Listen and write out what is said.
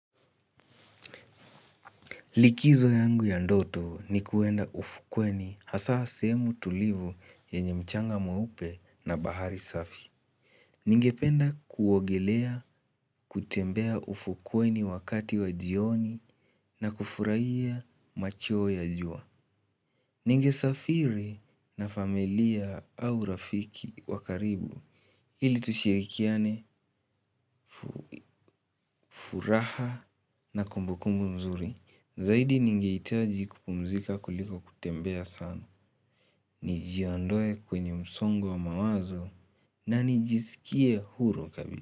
Likizo yangu ya ndoto ni kuenda ufukweni hasa sehemu tulivu yenye mchanga mweupe na bahari safi. Ningependa kuogelea kutembea ufukweni wakati wa jioni na kufurahia macho ya jua. Ningesafiri na familia au rafiki wa karibu ili tushirikiane furaha na kumbukumbu mzuri. Zaidi ningehitaji kupumzika kuliko kutembea sana nijiondoe kwenye msongo wa mawazo na nijisikie huru kabisa.